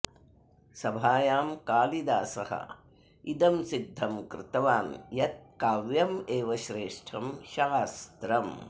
सभायां कालिदास इदं सिद्धं कृतवान् यत् काव्यमेव श्रेष्ठं शास्त्रम्